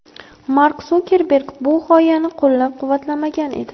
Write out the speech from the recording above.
Mark Sukerberg bu g‘oyani qo‘llab-quvvatlamagan edi.